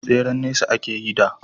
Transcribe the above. tseren nesa take yi da